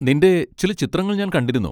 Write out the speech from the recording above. നിന്റെ ചില ചിത്രങ്ങൾ ഞാൻ കണ്ടിരുന്നു.